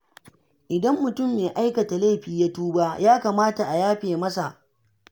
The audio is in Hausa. Idan mutum mai aikata laifi ya tuba, ya kamata a yafe masa.